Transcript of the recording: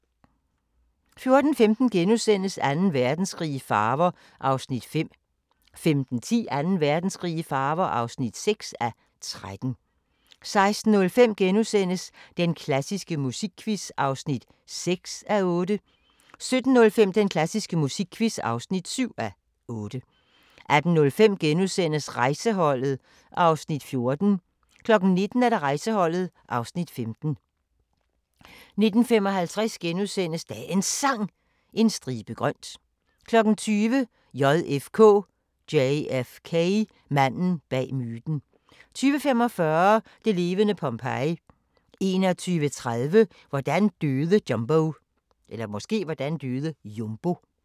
14:15: Anden Verdenskrig i farver (5:13)* 15:10: Anden Verdenskrig i farver (6:13) 16:05: Den klassiske musikquiz (6:8)* 17:05: Den klassiske musikquiz (7:8) 18:05: Rejseholdet (Afs. 14)* 19:00: Rejseholdet (Afs. 15) 19:55: Dagens Sang: En stribe grønt * 20:00: JFK: Manden bag myten 20:45: Det levende Pompeji 21:30: Hvordan døde Jumbo?